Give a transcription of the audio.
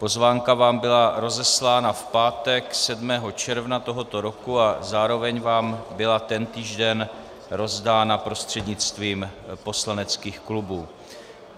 Pozvánka vám byla rozeslána v pátek 7. června tohoto roku a zároveň vám byla tentýž den rozdána prostřednictvím poslaneckých klubů.